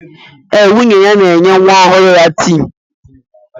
Eh, nwunye ya na-enye nwa ọhụrụ ya tii.